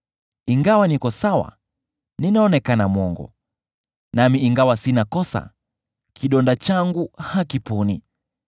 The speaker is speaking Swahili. Ingawa niko sawa, ninaonekana mwongo; nami ingawa sina kosa, kidonda changu hakiponi.’